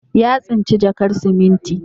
Ya tsinci jakar siminti.